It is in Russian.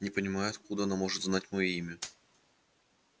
не понимаю откуда она может знать моё имя